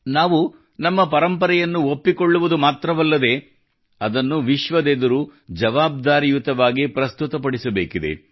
ನಾವು ನಮ್ಮ ಪರಂಪರೆಯನ್ನು ಒಪ್ಪಿಕೊಳ್ಳುವುದು ಮಾತ್ರವಲ್ಲದೇ ಅದನ್ನು ವಿಶ್ವದೆದುರು ಜವಾಬ್ದಾರಿಯುತವಾಗಿ ಪ್ರಸ್ತುತಪಡಿಸಬೇಕಿದೆ